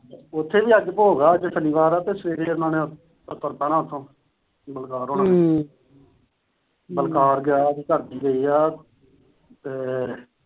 ਉਥੇ ਵੀ ਅੱਜ ਭੋਗ ਆ, ਅੱਜ ਸ਼ਨੀਵਾਰ ਆ ਤੇ ਸਵੇਰੇ ਉਹਨਾਂ ਨੇ ਤੁਰ ਪੈਣਾ ਉਥੋਂ। ਬਲਕਾਰ ਹੋਨਾ ਨੇ। ਬਲਕਾਰ ਗਿਆ ਹੋਇਆ ਸੀ, ਉਹਦੇ ਘਰ ਦੀ ਗਈ ਏ ਤੇ